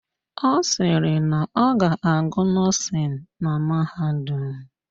Ọ sịrị na ọ ga-agụ nọ́ọ̀sịn na mahadum